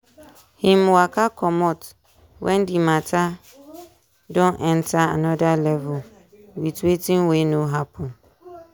him waka commot wen di matter don enta anoda level with wetin wey no happen.